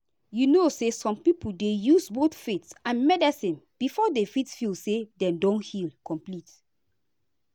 you know say some people dey use both faith and medicine before dem fit feel say dem don heal complete.